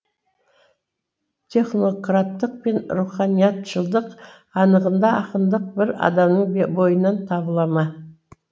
технократтық пен руханиятшылдық анығында ақындық бір адамның бойынан табыла ма